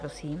Prosím.